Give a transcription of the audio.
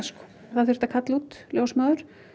það þurfti að kalla út ljósmóður